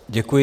Děkuji.